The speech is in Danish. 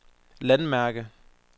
landmærke